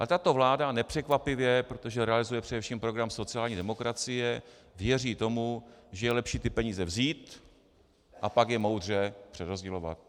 A tato vláda nepřekvapivě, protože realizuje především program sociální demokracie, věří tomu, že je lepší ty peníze vzít a pak je moudře přerozdělovat.